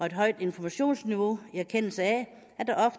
et højt informationsniveau i erkendelse af